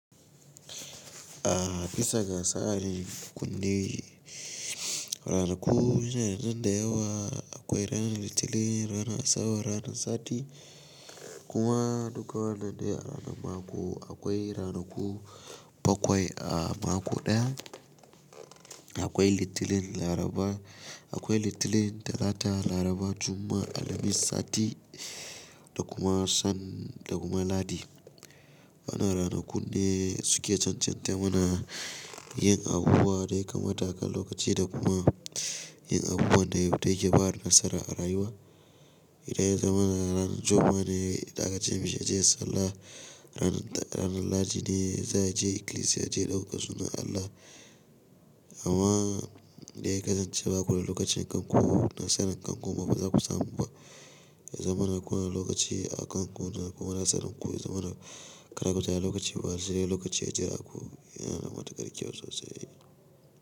A bisa ga tsari kunne. Ranaku mana nan da yawa akwai ranar litinin, rana asabar, ranar sati kuma duka wannan ne a ranar mako. Akwai ranaku bakwai a mako ɗaya. Akwai litinin, laraba, akwai litinin, talata, laraba, jumma'a, alhamis, sati da kuma san da kuma ladi. Ana ranakun ne suke cancantar mana yin abubuwa dai kamar taka lokaci da kuma yin abubuwan da daya ke ba da nasara a rayuwa. Idan ya zama ranar jumma'a ne da aka ce mishi ya je sallah. Ranar, ranar ladi ne za ya je ikilisiya ya je ɗaukaka sunan Allah. Amma dai ya kasance baku da lokacin kanku na saran kanku ba za ku samu ba. Ya zama na kuna da lokaci a kanku da kuma na saran ku ya zama na karatu da lokaci ba shi dai lokaci a jira ku yana matukar kyau sosai ne.